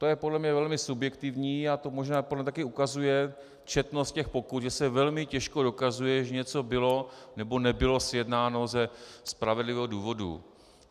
To je podle mě velmi subjektivní a to možná podle mě také ukazuje četnost těch pokut, že se velmi těžko dokazuje, že něco bylo nebo nebylo sjednáno ze spravedlivého důvodu.